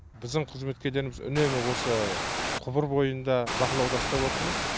біздің қызметкерлеріміз үнемі осы құбыр бойын да бақылауда ұстап отырмыз